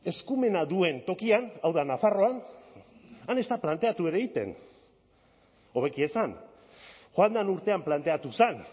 eskumena duen tokian hau da nafarroan han ez da planteatu ere egiten hobeki esan joan den urtean planteatu zen